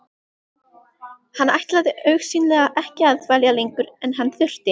Hann ætlaði augsýnilega ekki að dvelja lengur en hann þurfti.